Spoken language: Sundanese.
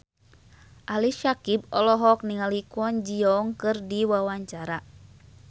Ali Syakieb olohok ningali Kwon Ji Yong keur diwawancara